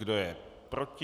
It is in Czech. Kdo je proti?